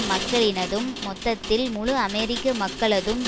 மக்களினதும் மொத்தத்தில் முழு அமெரிக்க மக்களதும்